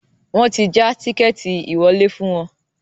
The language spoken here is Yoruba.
Wọ́n ti já tíkẹ́ẹ́tì ìwọlé fún wọn